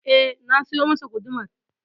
Eh na siyo masa gudumar.